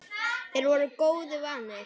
Þeir voru góðu vanir.